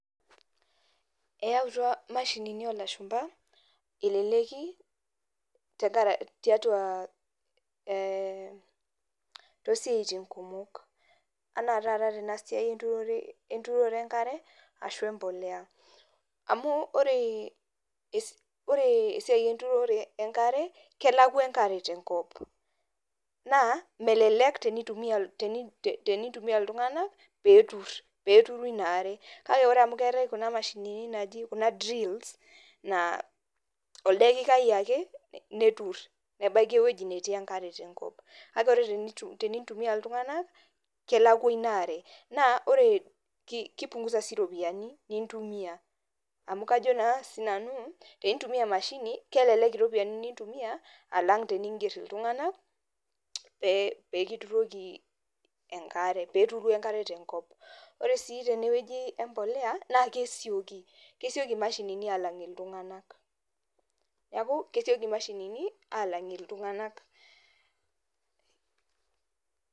Eyautua imashinini oolashumba eleleki, tiatua ehh, toosiatin kumok. Enaa taata tena siai enturore enkare ashu empolea. Amu, wore esiai enturore enkare, kelakwa enkare tenkop, naa melelek tenitumiya iltunganak pee eturu iniare. Kake wore amu keetae kuna mashinini naaji kuna drills, naa oldakikai ake, neturr nebaiki ewoji netii enkare tenkop. Kake wore tenintumia iltunganak, kelakwa inaare. Naa wore, kipungusa sii iropiyani nintumia. Amu kajo naa sinanu pee intumiyia emashini, kelelek iropiyani nintumia alang teniingerr iltunganak pee kituroki enkare. Pee eturu enkare tenkop. Wore sii tenewoji empolea, naa kesieki imashinini aalang iltunganak. Neeku kesieki imashinini aalang iltunganak.